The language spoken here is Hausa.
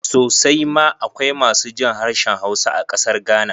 Sosai ma akwai masu jin harshen Hausa a ƙasar Ghana